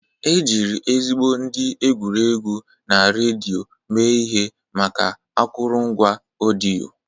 Ejiri ezigbo ndị egwuregwu na redio mee ihe maka akụrụngwa ọdịyo.